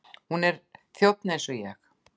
Hún er þjónn eins og ég.